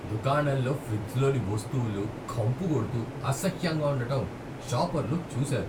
దుకాణంలో ఫ్రిజ్లోని వస్తువులు కంపుకొడుతూ, అసహ్యంగా ఉండటం షాపర్లు చూసారు.